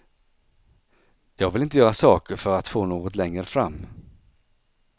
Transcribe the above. Jag vill inte göra saker för att få något längre fram.